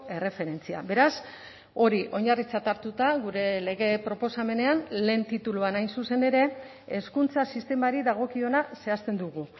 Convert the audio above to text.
erreferentzia beraz hori oinarritzat hartuta gure lege proposamenean lehen tituluan hain zuzen ere hezkuntza sistemari dagokiona zehazten dugu